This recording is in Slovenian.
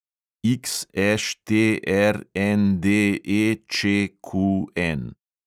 XŠTRNDEČQN